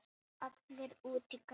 Allir út í garð!